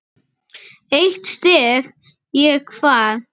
Eitt stef ég kvað.